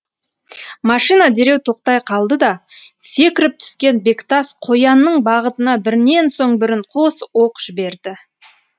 машина дереу тоқтай қалды да секіріп түскен бектас қоянның бағытына бірінен соң бірін қос оқ жіберді